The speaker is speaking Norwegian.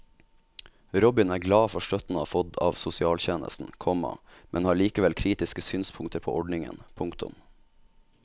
Robin er glad for støtten han har fått av sosialtjenesten, komma men har likevel kritiske synspunkter på ordningen. punktum